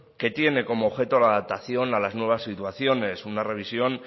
que tiene como objeto de adaptación a las nuevas situaciones una revisión